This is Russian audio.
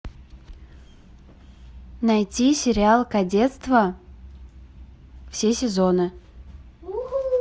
найти сериал кадетство все сезоны